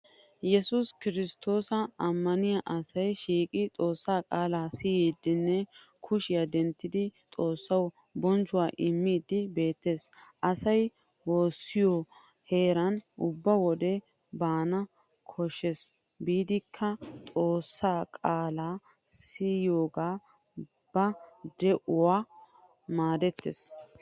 Yesuusi kirsttoosa ammaniya asay shiiqi xoossaa qaalaa siyiiddine kushiya denttidi xaassawu bonchchuwa immiiddi beettes. Asay woosiyo heeraa ubba wode banana koshshes biidikka xoossaa qaalaa siyiyoga ba de'uwaawu maadettes.